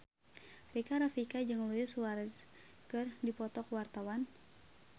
Rika Rafika jeung Luis Suarez keur dipoto ku wartawan